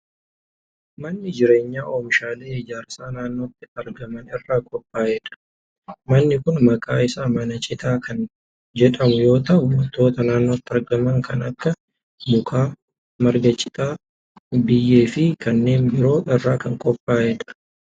Manni jireenyaa oomishaalee ijaarsaa naannotti argaman irraa qophaa'e dha. Manni kun maqaan isaa mana citaa kamn jedhamu yoo ta'u, wantoota naannotti argaman kan akka:muka, marga citaa, biyyee fi kanneen biroo irraa kan qophaa'e dha.